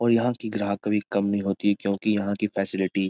और यहाँ की ग्राहक कभी कम नहीं होती क्योंकि यहाँ की फैसिलिटी --